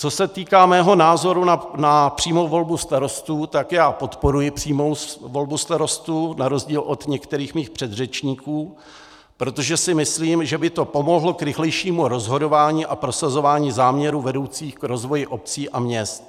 Co se týká mého názoru na přímou volbu starostů, tak já podporuji přímou volbu starostů na rozdíl od některých svých předřečníků, protože si myslím, že by to pomohlo k rychlejšímu rozhodování a prosazování záměrů vedoucích k rozvoji obcí a měst.